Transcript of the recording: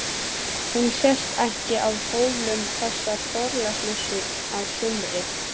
Hún sést ekki á Hólum þessa Þorláksmessu á sumri.